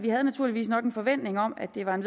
havde naturligvis nok en forventning om at det var et